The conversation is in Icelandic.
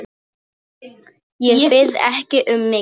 Ég bið ekki um mikið.